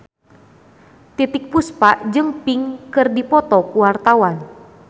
Titiek Puspa jeung Pink keur dipoto ku wartawan